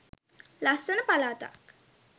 ලස්සන පළාතක්.